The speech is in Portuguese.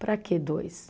Para quê dois?